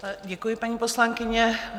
Děkuji, paní poslankyně.